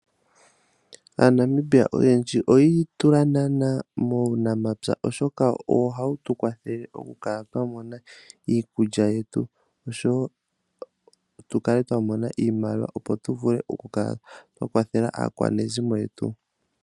AaNamibia oyendji oya itula naana muunamapya, oshoka owo hawu tu kwathele, moku kala twa mona iikulya yetu , oshowo tu kale twa mona iimaliwa opo tu vule oku kala twa kwathela aakwanezimo yetu.